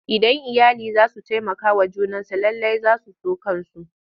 Idan iyali za su taimakawa junansu lallai za su so kansu.